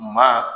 Maa